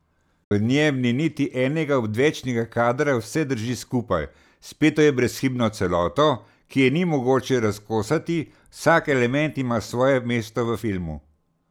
V njem ni niti enega odvečnega kadra, vse drži skupaj, speto je v brezhibno celoto, ki je ni mogoče razkosati, vsak element ima svoje mesto v filmu.